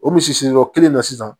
O misi sigiyɔrɔ kelen na sisan